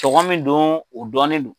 Cɔgɔn min do o dɔnnen do.